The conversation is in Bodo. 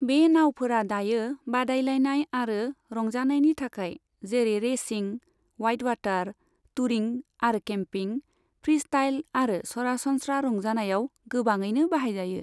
बे नाउफोरा दायो बादायलायनाय आरो रंजानायनि थाखाय जेरै रेसिं, वाइटवाटार, टूरिं आरो केम्पिं, फ्रीस्टाइल आरो सरासनस्रा रंजानायाव गोबाङैनो बाहायजायो।